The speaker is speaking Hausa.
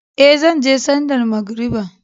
Ee, zan je sallar magariba.